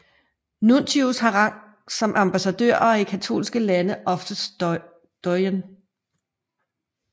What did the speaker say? Nuntius har rang som ambassadør og er i katolske lande oftest doyen